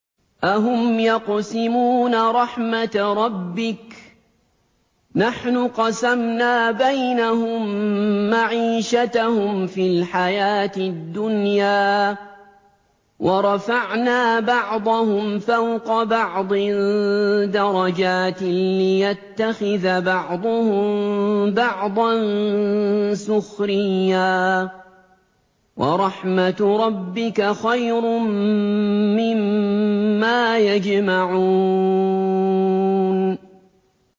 أَهُمْ يَقْسِمُونَ رَحْمَتَ رَبِّكَ ۚ نَحْنُ قَسَمْنَا بَيْنَهُم مَّعِيشَتَهُمْ فِي الْحَيَاةِ الدُّنْيَا ۚ وَرَفَعْنَا بَعْضَهُمْ فَوْقَ بَعْضٍ دَرَجَاتٍ لِّيَتَّخِذَ بَعْضُهُم بَعْضًا سُخْرِيًّا ۗ وَرَحْمَتُ رَبِّكَ خَيْرٌ مِّمَّا يَجْمَعُونَ